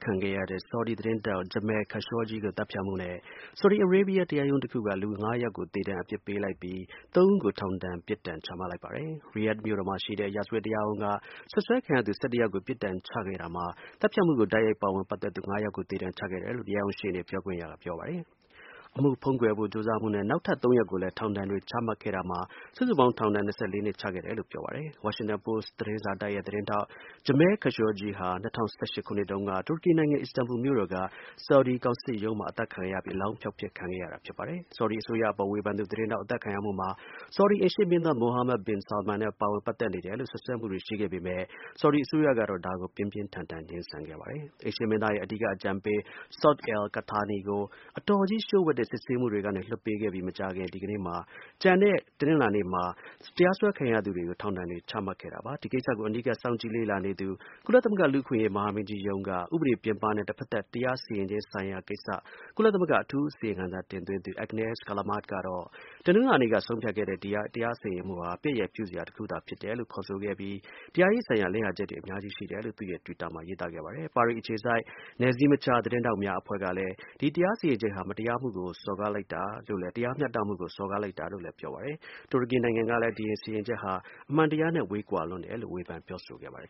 ခံခဲ့ရတဲ့ သတင်းထောက် Jamal Khashoggi ကို သတ်ဖြတ်မှုနဲ့ Saudi Arabia တရားရုံးတခုက လူ ၅ ယောက်ကို သေဒဏ်အပြစ်ပေးလိုက်ပြီး ၃ ဦးကို ထောင်ဒဏ် ပြစ်ဒဏ် ချမှတ်လိုက်ပါတယ်။ Riyadh မြို့တော်မှာရှိတဲ့ ရာဇဝတ်တရားရုံးက စွပ်စွဲခံရသူ ၁၁ ယောက်ကို ပြစ်ဒဏ်ချခဲ့တာမှာ၊ သတ်ဖြတ်မှုကို တိုက်ရိုက်ပတ်သက်သူ ၅ ယောက်ကို သေဒဏ်ချခဲ့တယ်လို့ တရားရုံးရှေ့နေ ပြောခွင့်ရသူကပြောပါတယ်။ အမှုဖုံးကွယ်ဖို့ကြိုးစားမှုနဲ့ နောက်ထပ် ၃ ယောက်ကိုလည်း ထောင်ဒဏ်တွေချခဲ့တာမှာ စုစုပေါင်း ထောင်ဒဏ် ၂၄ နှစ်ချခဲ့တယ်လို့ ပြောပါတယ်။ Washington Post သတင်းစာတိုက်ရဲ့ သတင်းထောက် Jamal Khashoggi ဟာ ၂၀၁၈ ခုနှစ်တုန်းက တူရကီနိုင်ငံ Istanbul မြို့တော်က Saudi ကောင်စစ်ရုံးထဲမှာ အသတ်ခံရပြီး အလောင်းဖျောက်ဖျက် ခံရတာဖြစ်ပါတယ်။ Saudi အစိုးရအပေါ် ဝေဖန်သူသတင်းထောက် အသတ်ခံရမှုမှာ Saudi အိမ်ရှေ့မင်းသား Mohammed bin Salman နဲ့ပတ်သက်နေတယ်လို့ စွပ်စွဲမှုတွေရှိခဲ့ပေမဲ့ Saudi အစိုးရကတော့ ဒါကို ပြင်းပြင်းထန်ထန် ငြင်းဆန်ခဲ့ပါတယ်။ အိမ်ရှေ့မင်းသားရဲ့အဓိက အကြံပေး Saud al-Qahtani ကို အတော်ကြီးလှို့ဝှက်တဲ့ စစ်ဆေးမှုတွေကနေ လွှတ်ပေးခဲ့ပြီး တနင်္လာနေ့မှာ ကျန်တဲ့ တရားစွဲခံရသူတွေကို ထောင်ဒဏ်တွေ ချခဲ့တာဖြစ်ပါတယ်။ ဒီကိစ္စကို အနီးကပ် စောင့်ကြည့်လေ့လာနေသူ ကုလသမဂ္ဂ လူ့အခွင့်အရေး မဟာမင်းကြီး ရုံးက ဥပဒေပြင်ပနဲ့ တဖက်သတ် တရားစီရင်ခြင်း ဆိုင်ရာ ကိစ္စ ကုလသမဂ္ဂ အထူး အစီရင်ခံစာ တင်သွင်းသူ Agnes Callamard ကတော့ ဒီ တရားစီရင်မှုဟာ ပြက်ရယ်ပြုစရာ တစ်ခုသာ ဖြစ်တယ်လို့ ခေါ်ဆိုခဲ့ပြီး တရားရေးဆိုင်ရာ လစ်ဟာချက်တွေ အများကြီး ရှိတယ်လို့ သူ့ရဲ့ တွစ်တာမှာ ရေးသားခဲ့ပါတယ်။ ပါရီ အခြေစိုက် နယ်စည်းမခြား သတင်းထောက်များ အဖွဲ့က ဒီ တရားစီရင်ချက်ဟာ တရားမျှတမှုကို စော်ကားလိုက်တာပဲလို့လည်း ပြောပါတယ်။ တူရကီနိုင်ငံကလည်း ဒီ စီရင်ချက်ဟာ အမှန်တရားနဲ့ ဝေးကွာလွန်းတယ်လို့ ဝေဖန် ပြောဆိုခဲ့ပါတယ်